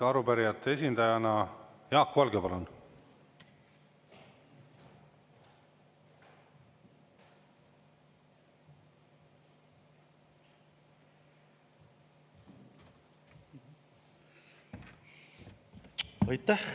Arupärijate esindajana Jaak Valge, palun!